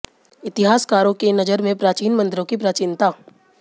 इतिहासकारों की नजर में प्राचीन मंदिरों की प्राचीनता